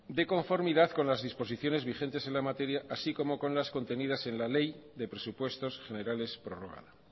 de conformidad con las disposiciones vigentes en la materia así como con las contenidas en la ley de presupuestos generales prorrogada